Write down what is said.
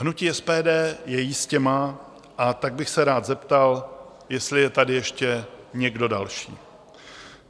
Hnutí SPD ji jistě má, a tak bych se rád zeptal, jestli je tady ještě někdo další?